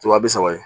Wa bi saba ye